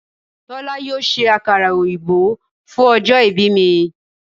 Tólá yóò se àkàrà òyìnbó fún ojó ibí mi